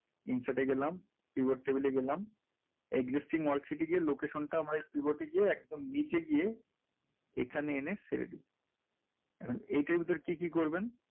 insert এ গেলাম keyboard table এ গেলাম adjusting তে গিয়ে location টা আমরা keyboard এ গিয়ে একদম নীচে গিয়ে এখানে এনে সেরে দেই, এখন এটার ভেতোরে কী কী করবেন?